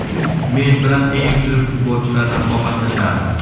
Men bilan eng zo‘r futbolchilar raqobatlashardi.